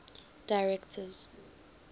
directors